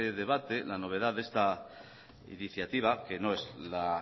debate la novedad de esta iniciativa que no es la